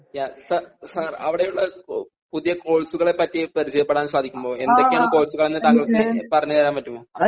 Sir sir അവിടെയുള്ള പുതിയ കോഴ്സ്കളെ പറ്റി പരിചയപ്പെടാൻ സാധിക്കുമോ . എന്തൊക്കെയാണ് കോഴ്സ്കൾ എന്ന് താങ്കൾക്ക് പറഞ്ഞ് തരാൻ പറ്റുമോ